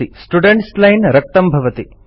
students line रक्तं भवति